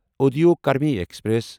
Udyog Karmi express